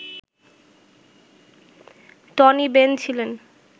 Tony Benn ছিলেন